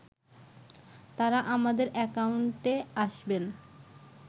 তারা আমাদের অ্যাকাউন্টে আসবেন